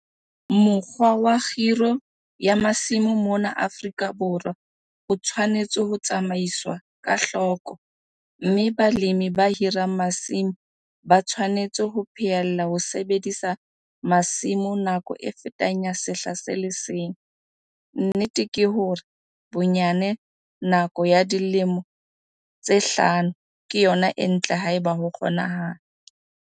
Mokgwa wa kgiro ya masimo mona Afrika Borwa o tshwanetse ho tsamaiswa ka hloko, mme balemi ba hirang masimo ba tshwanetse ho phehella ho sebedisa masimo nako e fetang ya sehla se le seng, nnete ke hore, bonyane nako ya dilemo tse hlano ke yona e ntle haeba ho kgonahala.